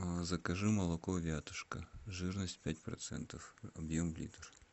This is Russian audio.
закажи молоко вятушка жирность пять процентов объем литр